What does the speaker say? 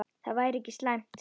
Það væri ekki slæmt.